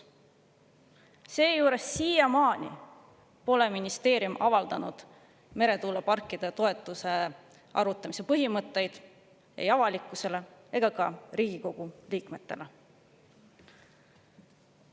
Seejuures siiamaani pole ministeerium avaldanud meretuuleparkide toetuse arvutamise põhimõtteid ei avalikkusele ega ka Riigikogu liikmetele.